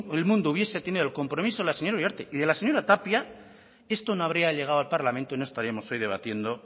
el mundo hubiera tenido el compromiso de la señora uriarte y de la señora tapia esto no hubiera llegado al parlamento y no estaríamos hoy debatiendo